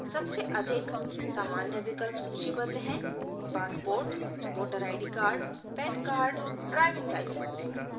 सबसे अधिक सामान्य विकल्प सूचीबद्ध हैं